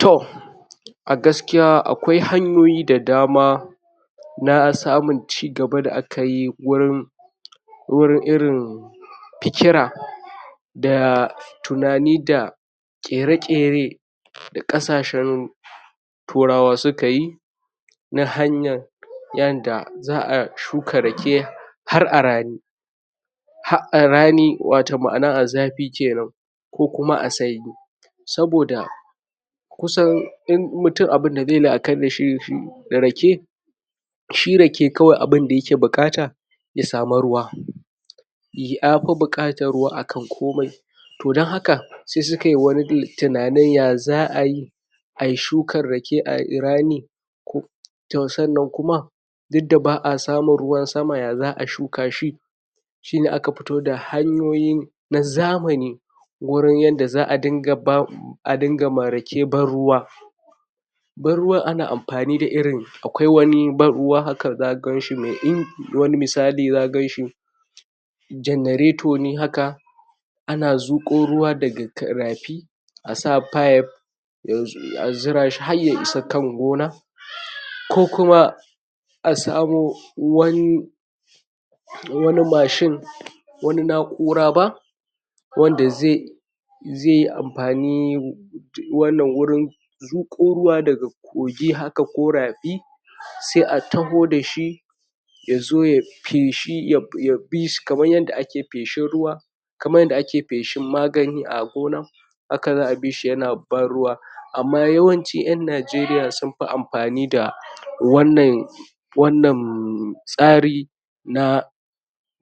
to a gaskiya akwai hanyoyi da dama na samun ci gaba da akayi gurin gurin irin fikira da tunani da ƙyare ƙyera da ƙasa shen turawa suka yi na hanyar yanda za'a shuka rake har a rani har a rani wato ma'ana a zafi kenan ko kuma a sanyi saboda kusan duk mutum abun da zeyi la'akari dashi da rake shi rake kawai abunda yake da buƙata ya samu ruwa yafi buƙatar ruwa akan komai to dan haka se sukai wani tunanin ya za'ayi ayi shukar rake a rani ko sannan kuma duk da ba'a samun ruwan sama ya za'a shuka shi shine aka fito da hanyoyi na zamani gurin yanda za'a ringa bama a ringa ma rake ban ruwa ban ruwan ana amfani da irin akwai wani ban ruwa haka zaka ganshi me in wani misali zaka ganshi jannareto ne haka ana zuƙo ruwa daga rafi asa pipe a zirashi har ya isa kan gona ko kuma a samu wani wani mashin wani na'ura ba wanda ze ze amfani wannan gurin zuƙo ruwa daga kogi haka ko rafi se a taho dashi yazo ya feshi ya fis kamar yadda ake feshin ruwa kamar yadda ake feshin magani a gona haka za'a bishi yana ban ruwa amma yawanci ƴan Nigeria sun fi amfani da wannan wannan tsari na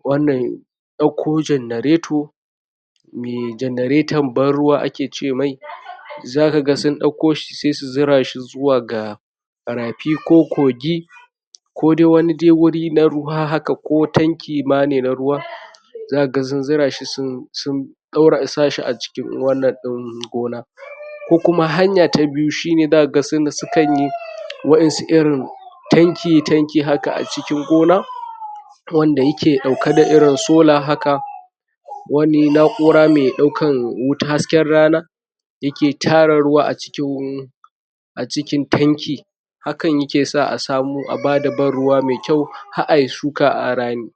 wannan ɗakko jannareto me jannareton ban ruwa ake ce mai zaka ga sun ɗakko shi se su zira shi zuwa ga rafi ko kogi ko dai wani guri na ruwa haka ko tanki ma ne na ruwa zakaga sun zira shi sun sun ɗaura sahi a cikin wannan ɗin gona ko kuma hanya ta biyu zaka ga sukanyi waƴansu irin tanki tanki haka a cikin gona wanda yake ɗauka da irin solar haka wani na'ura me ɗaukan wuta hasken rana yake tara ruwa a cikin a cikin tanki hakan yake sa a samu a bada ban ruwa me kyau har ayi shuka a rami